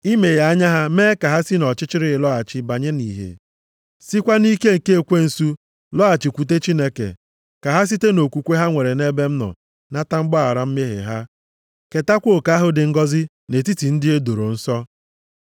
Imeghe anya ha mee ka ha si nʼọchịchịrị lọghachi banye nʼìhè, sikwa nʼike nke ekwensu lọghachikwute Chineke. Ka ha site nʼokwukwe ha nwere nʼebe m nọ nata mgbaghara mmehie ha, ketakwa oke ahụ dị ngọzị nʼetiti ndị e doro nsọ.’